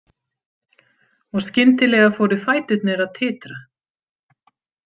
Og skyndilega fóru fæturnir að titra.